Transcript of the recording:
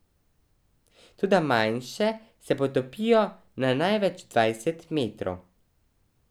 Toda manjše se potopijo na največ dvajset metrov.